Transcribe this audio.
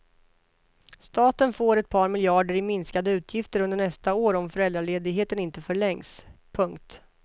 Staten får ett par miljarder i minskade utgifter under nästa år om föräldraledigheten inte förlängs. punkt